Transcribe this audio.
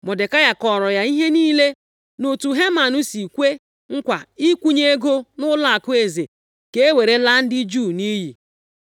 Mọdekai kọọrọ ya ihe niile, na otu Heman si kwee nkwa ịkwụnye ego nʼụlọakụ eze ka e were laa ndị Juu nʼiyi.